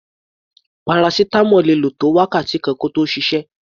Paracetamol le lò tó wákàtí kan kí ó tó ṣiṣẹ́.